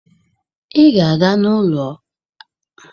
Ị ga-aga n'ahịa Akwata ịzụta ji!